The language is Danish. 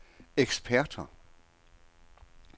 eksperter